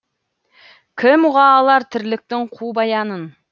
кім ұға алар тірліктің қу баянын